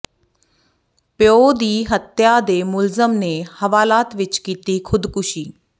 ਪਿਉ ਦੀ ਹਤਿਆ ਦੇ ਮੁਲਜ਼ਮ ਨੇ ਹਵਾਲਾਤ ਵਿਚ ਕੀਤੀ ਖ਼ੁਦਕੁਸ਼ੀ